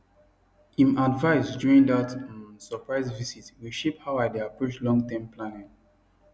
him advice during dat um surprise visit reshape how i dey approach longterm planning